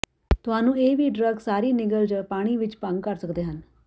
ਤੁਹਾਨੂੰ ਇਹ ਵੀ ਡਰੱਗ ਸਾਰੀ ਨਿਗਲ ਜ ਪਾਣੀ ਵਿੱਚ ਭੰਗ ਕਰ ਸਕਦੇ ਹਨ